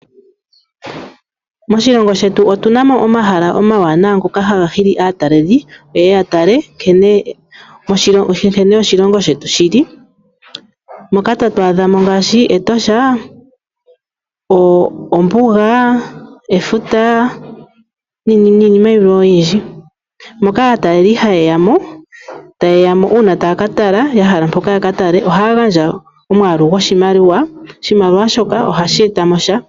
Moshilongo shetu otu na mo omahala omawanawa ngoka haga hili aatalelipo ye ye ya tale nkene oshilongo shetu shi li. Moka tatu adha mo ngaashi Etosha, ombuga, efuta niinima oyindji. Moka aatalelipo haye ya mo taye ya mo uuna ya hala okutala ya hala ya ka tale ohaya gandja omwaalu goshimaliwa. Oshimaliwa shoka ohashi eta mo sha.